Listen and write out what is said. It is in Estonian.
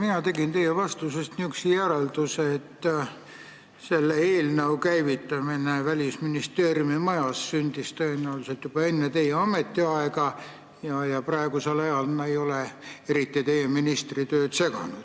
Mina tegin teie vastusest järelduse, et see eelnõu käivitati Välisministeeriumi majas tõenäoliselt juba enne teie ametiaega ja praegu see ei ole teie ministritööd eriti seganud.